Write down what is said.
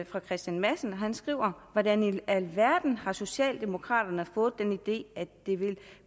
fra kristian madsen og han skriver hvordan i alverden har socialdemokraterne fået den idé at det vil